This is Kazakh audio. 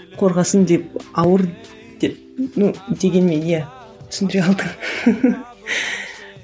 қорғасын деп ауыр деп ну дегенмен иә түсіндіре алдың